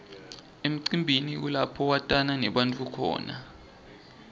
emcimbini kulapho watana nebantfu khona